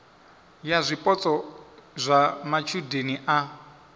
ya zwipotso zwa matshudeni a